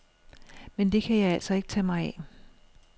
Men det kan jeg altså ikke tage mig af.